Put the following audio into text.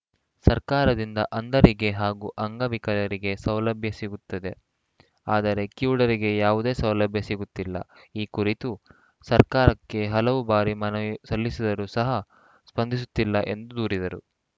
ಸರ್ಕಾರದಿಂದ ಅಂಧರಿಗೆ ಹಾಗೂ ಅಂಗವಿಕಲರಿಗೆ ಸೌಲಭ್ಯ ಸಿಗುತ್ತಿದೆ ಆದರೆ ಕಿವುಡರಿಗೆ ಯಾವುದೇ ಸೌಲಭ್ಯ ಸಿಗುತ್ತಿಲ್ಲ ಈ ಕುರಿತು ಸರ್ಕಾರಕ್ಕೆ ಹಲವು ಬಾರಿ ಮನವಿ ಸಲ್ಲಿಸಿದ್ದರೂ ಸಹ ಸ್ಪಂದಿಸುತ್ತಿಲ್ಲ ಎಂದು ದೂರಿದರು